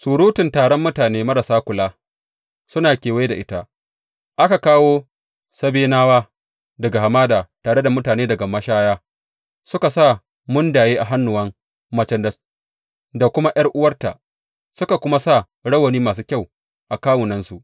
Surutun taron mutane marasa kula suna kewaye da ita; aka kawo Sabenawa daga hamada tare da mutane daga mashaya, suka sa mundaye a hannuwan macen da kuma ’yar’uwarta suka kuma sa rawani masu kyau a kawunansu.